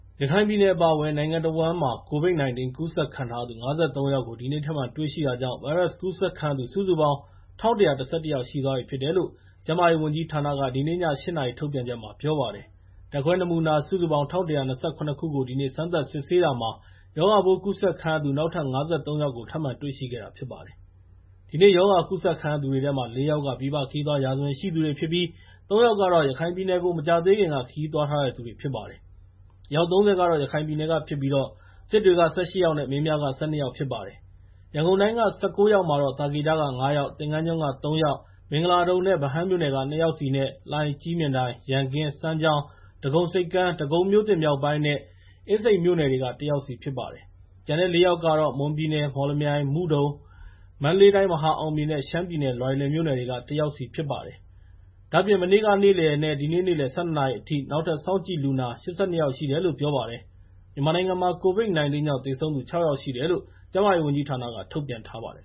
ရခိုင်ပြည်နယ်အပါအဝင် နိုင်ငံတဝန်းမှာ COVID-19 ကူးစက်ခံထားရသူ ၅၃ ယောက် ဒီနေ့ထပ်မံတွေရှိတာကြောင့် ဗိုင်းရပ်စ်ကူးစက်ခံရသူ စုစုပေါင်း ၁,၁၁၁ ယောက်ရှိသွားပြီဖြစ်တယ်လို့ ကျန်းမာရေးဝန်ကြီးဌာနက ဒီနေ့ည ၈ နာရီ ထုတ်ပြန်ချက်မှာ ပြောပါတယ်။ ဓာတ်ခွဲနမူနာ ၁,၁၂၇ ခုကို ဒီနေ့ စမ်းသပ်စစ်ဆေးတာမှာ ရောဂါပိုးကူးစက်ခံရသူ နောက်ထပ် ၅၃ ယောက်ကို ထပ်မံတွေ့ရှိခဲ့တာဖြစ်ပါတယ်။ ဒီနေ့ရောဂါကူးစက်ခံရတဲ့သူတွေထဲမှာ ၄ ယောက်က ပြည်ပခရီးသွား ရာဇဝင်ရှိသူတွေဖြစ်ပြီး ၃ ယောက်ကတော့ ရခိုင်ပြည်နယ်ကို မကြာသေးခင်က ခရီးသွားထားသူတွေဖြစ်ပါတယ်။ အယောက် ၃၀ က ရခိုင်ပြည်နယ်ကဖြစ်ပြီး စစ်တွေက ၁၈ ယောက် နဲ့ မင်းပြားက ၁၂ ယောက်ဖြစ်ပါတယ်။ ရန်ကုန်တိုင်းက ၁၉ ယောက်မှာတော့ သာကေတက ၅ ယောက်၊ သင်္ဃန်းကျွန်း ၃ ယောက် ၊ မင်္ဂလာဒုံနဲ့ ဗဟန်းမြို့နယ်က ၂ ယောက်စီနဲ့ လှိုင်၊ ကြည့်မြင်တိုင်၊ ရန်ကင်း၊ စမ်းချောင်း၊ ဒဂုံဆိပ်ကမ်း၊ ဒဂုံမြောက်ပိုင်းနဲ့ အင်းစိန်မြို့နယ်တွေက ၁ ယောက်စီဖြစ်ပါတယ်။ ကျန်တဲ့ ၄ ယောက်ကတော့ မွန်ပြည်နယ် မော်လမြိုင်၊ မုဒုံ၊ မန္တလေးတိုင်း မဟာအောင်မြေ နဲ့ ရှမ်းပြည်နယ် လွိုင်လင်မြို့နယ်တွေက ၁ ယောက်စီဖြစ်တယ်လို့ ပြောပါတယ်။ ဒါ့အပြင် မနေ့ကနဲ့ ဒီနေ့ နေ့လယ် ၁၂ နာရီအထိ နောက်ထပ် စောင့်ကြည့်လူနာ ၈၂ ယောက် ရှိတယ်လို့ ပြောပါတယ်။ မြန်မာနိုင်ငံမှာ COVID-19 ကြောင့် သေဆုံးသူ ၆ ယောက်ရှိတယ်လို့ ကျန်းမာရေး ဝန်ကြီးဌာနက ထုတ်ပြန်ထားပါတယ်